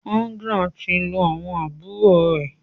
Agnes tí ń lù àwọn àbúrò rẹ.